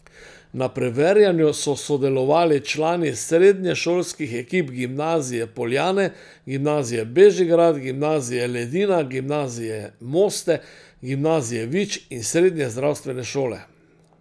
Na preverjanju so sodelovali člani srednješolskih ekip Gimnazije Poljane, Gimnazije Bežigrad, Gimnazije Ledina, Gimnazije Moste, Gimnazije Vič in Srednje zdravstvene šole.